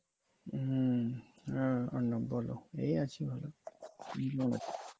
হম হ্যাঁ অর্ণব বলো। এই আছি ভালো তুমি কেমন আছো?